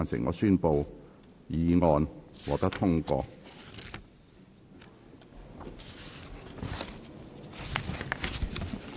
我宣布議案獲得通過。